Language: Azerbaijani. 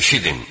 Eşidin!